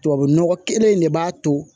Tubabu nɔgɔ kelen in de b'a to